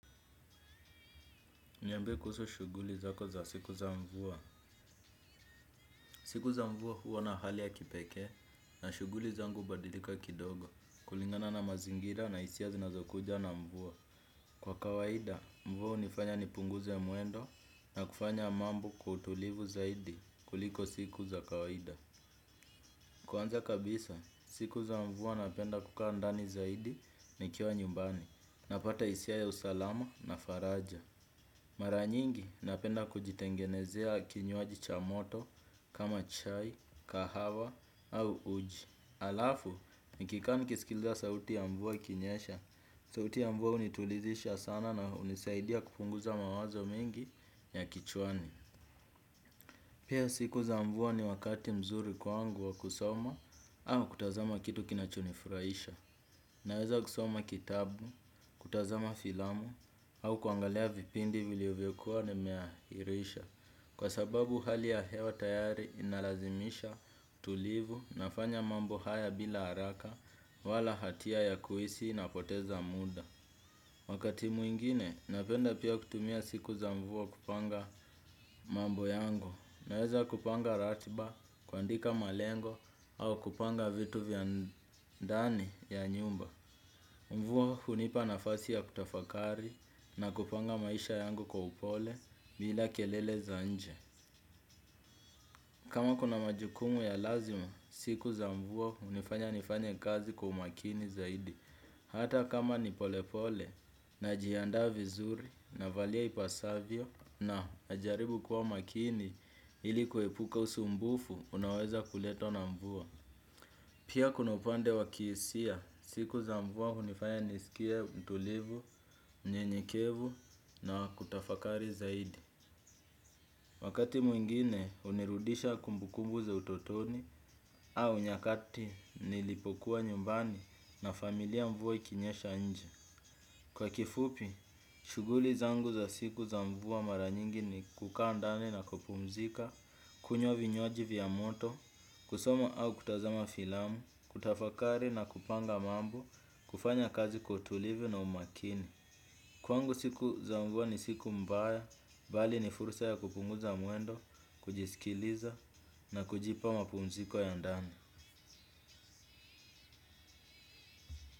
Niambie kuhusu shuguli zako za siku za mvua. Siku za mvua huwa na hali ya kipekee na shuguli zangu hubadilika kidogo. Kulingana na mazingira na hisia zinazokuja na mvua. Kwa kawaida, mvua hunifanya nipunguze mwuendo na kufanya mambo kwa utulivu zaidi kuliko siku za kawaida. Kwanza kabisa, siku za mvua napenda kukaa ndani zaidi nikiwa nyumbani. Napata hisia ya usalama na faraja. Mara nyingi napenda kujitengenezea kinywaji cha moto kama chai, kahawa au uji. Halafu, nikikaa nikisikiliza sauti ya mvua ikinyesha, sauti ya mvua hunitulizisha sana na hunisaidia kupunguza mawazo mengi ya kichwani. Pia siku za mvua ni wakati mzuri kwangu wa kusoma au kutazama kitu kinachonifurahisha. Naweza kusoma kitabu, kutazama filamu, au kuangalia vipindi vilivyokuwa ni meahirisha. Kwa sababu hali ya hewa tayari inalazimisha tulivu nafanya mambo haya bila haraka wala hatia ya kuhisi na poteza muda. Wakati mwingine, napenda pia kutumia siku za mvua kupanga mambo yango. Naweza kupanga ratiba, kuandika malengo, au kupanga vitu vya ndani ya nyumba. Mvua hunipa nafasi ya kutafakari na kupanga maisha yangu kwa upole bila kelele za nje. Kama kuna majukumu ya lazima, siku za mvua hunifanya nifanya kazi kwa umakini zaidi. Hata kama nipolepole najiandaa vizuri navalia ipasavyo na najaribu kuwa makini ili kuepuka usumbufu, unaoweza kuletwa na mvua. Pia kuna upande wa kihisia, siku za mvua hunifaya niskie mtulivu, mnyenyekevu na kutafakari zaidi. Wakati mwingine hunirudisha kumbukumbu za utotoni au nyakati nilipokuwa nyumbani na familia mvua ikinyesha nje. Kwa kifupi, shuguli zangu za siku za mvua mara nyingi ni kukaa ndani na kupumzika, kunywa vinywaji vya moto, kusoma au kutazama filamu, kutafakari na kupanga mambo, kufanya kazi kwa utulivi na umakini. Kwangu siku za mvua ni siku mbaya, bali ni fursa ya kupunguza mwendo, kujisikiliza na kujipa mapumziko ya ndani.